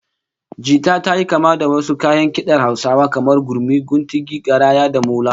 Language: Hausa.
Jita tayi kama da wasu kayan kidar Hausawa kamar gurmi, kuntigi, garaya, da molo